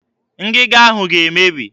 Ngịga ahụ ga-emebi.